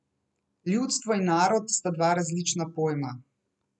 Ljudstvo in narod sta dva različna pojma.